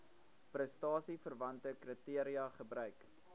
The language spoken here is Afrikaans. prestasieverwante kriteria gebruik